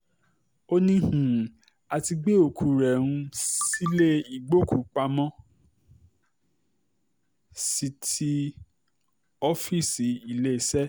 ó ní um a ti gbé òkú um rẹ̀ sílẹ̀ ìgbòkú-pamọ́-sí ti ooffc iléeṣẹ́